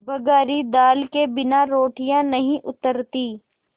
बघारी दाल के बिना रोटियाँ नहीं उतरतीं